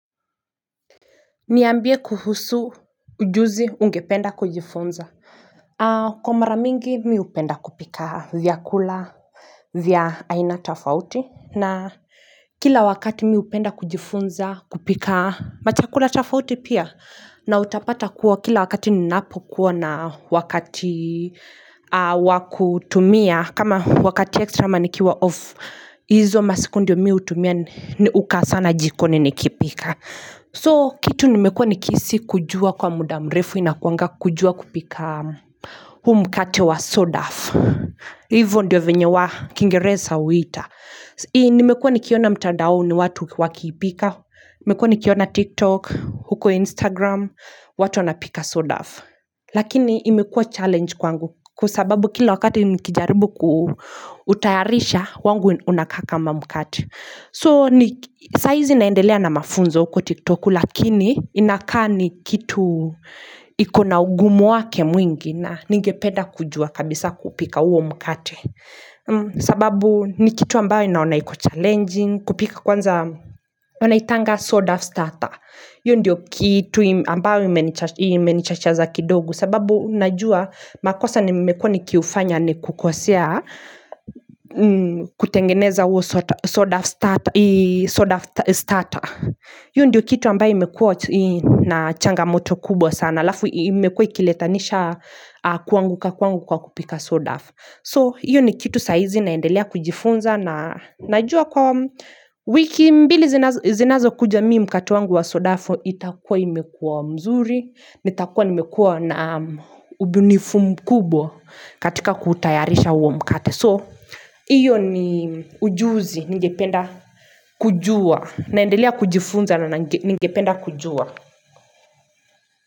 Niambie kuhusu ujuzi ungependa kujifunza kwa mara mingi mi hupenda kupika vya kula vya aina tofauti na kila wakati mihupenda kujifunza kupika machakula tofauti pia na utapata kuwa kila wakati ninapo kuwa na wakati wakutumia kama wakati extra amanikiwa off hIzo masikundio mi hu tumia ni hukaa sana jikoni nikipika So kitu nimekuwa nikihisi kujua kwa mudamrefu inakuanga kujua kupika huu mkate wa sodaf Hivyo ndio venye wa kingereza huiita Nimekuwa nikiona mtaadaoni watu wakipika niMekuwa nikiona tiktok, huko instagram watu wana pika sourdough Lakini imekuwa challenge kwangu Kwa sababu kila wakati nikijaribu kutayarisha wangu unaa kaakama mkate So saizi naendelea na mafunzo uko tiktoku Lakini inakaani kitu ikona ugumu wake mwingi na ningepeda kujua kabisa kupika huo mkate sababu ni kitu ambayo naona iko challenging kupika kwanza wanaitanga sourdough starter hiYo ndio kitu ambayo imenichachaza kidogo sababu najua makosa ni mekua ni kiufanya ni kukosea kutengeneza huo sourdough starter. Hiyo ndiyo kitu ambayo imekua na changa moto kubwa sana. haLafu imekua ikiletanisha kuanguka kwangu kwa kupika sourdough. So, hio ni kitu saizi naendelea kujifunza na najua kwa wiki mbili zinazo kuja mii mkate wangu wa sourdough itakuwa imekuwa mzuri, nitakuwa nimekuwa na ubunifu mkubwa katika kutayarisha huo mkate. So, hiyo ni ujuzi, ningependa kujua, naendelea kujifunza na ningependa kujua.